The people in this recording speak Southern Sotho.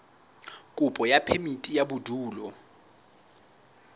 kopo ya phemiti ya bodulo